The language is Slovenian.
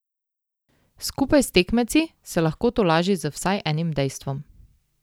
Skupaj s tekmeci se lahko tolaži z vsaj enim dejstvom.